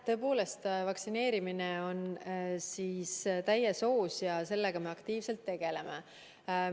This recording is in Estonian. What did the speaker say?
Tõepoolest, vaktsineerimine on täies hoos ja sellega me aktiivselt tegeleme.